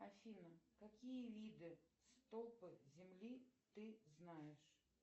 афина какие виды стопы земли ты знаешь